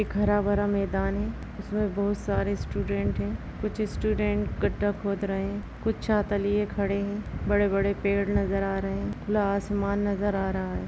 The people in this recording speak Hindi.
एक हरा-भरा मैदान है जिसमें बहुत सारे स्‍टूडेन्‍ट है| कुछ स्‍टूडेन्‍ट गढ्ढा खोद रहे हैं कुछ छाता लिये खड़े हैं | बड़े-बड़े पेड़ नजर आ रहे हैं खुला आसमान नजर आ रहा है।